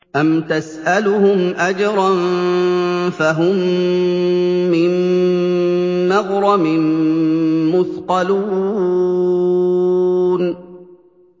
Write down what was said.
أَمْ تَسْأَلُهُمْ أَجْرًا فَهُم مِّن مَّغْرَمٍ مُّثْقَلُونَ